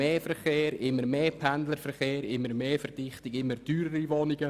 Es gibt immer mehr Pendlerverkehr, immer mehr Verdichtung und teurere Wohnungen.